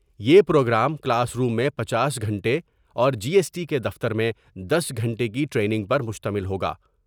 یہ programme classroom میں پچاس گھنٹے اور جی ایس ٹی کے دفتر میں دس گھنٹے کی ٹرینگ پر مشتمل ہوگا ۔